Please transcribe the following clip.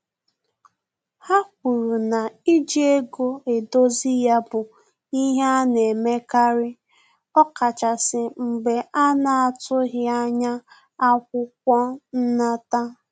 Ha kwuru na iji ego edozi ya bụ ihe ana-emekari ọkachasi mgbe a na-atughi anya akwụkwọ nnata